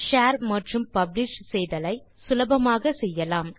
share மற்றும் publish செய்தலை சுலபமாக செய்யலாம்